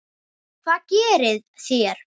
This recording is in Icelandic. Hvað gerið þér?